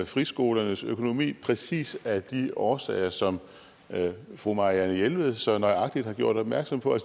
friskolernes økonomi præcis af de årsager som fru marianne jelved så nøjagtigt har gjort opmærksom på